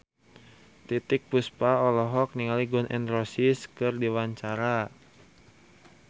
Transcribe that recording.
Titiek Puspa olohok ningali Gun N Roses keur diwawancara